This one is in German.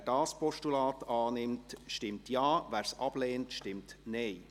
Wer dieses Postulat annimmt, stimmt Ja, wer es ablehnt, stimmt Nein.